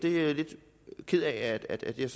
er lidt ked af at jeg